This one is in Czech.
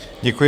Děkuji.